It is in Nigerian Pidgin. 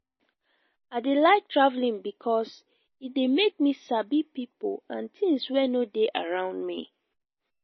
i dey like travelling because e dey make me sabi pipo and tins wey no dey around me